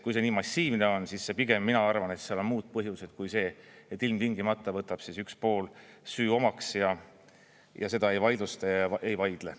Kui see nii massiivne on, siis pigem mina arvan, et seal on muud põhjused kui see, et ilmtingimata võtab üks pool süü omaks ja seda ei vaidlusta, ei vaidle.